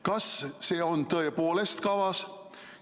Kas see on tõepoolest kavas?